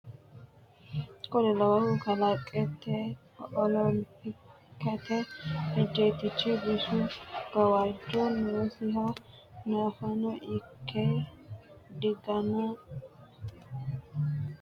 Kuni lowohu kalqete olompikete ejjeettichi bisu gawajjo noosiha nafano ikke digaana olate heewora beeqqe babbaxxino baraarsha adhino Kuni lowohu kalqete.